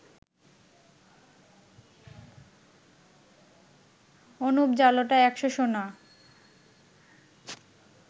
অনুপ জালোটা ১০০ সোনা